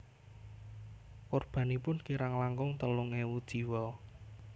Korbanipun kirang langkung telung ewu jiwa